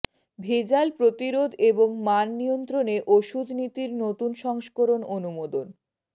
ভেজাল প্রতিরোধ এবং মান নিয়ন্ত্রণে ওষুধ নীতির নতুন সংস্করণ অনুমোদন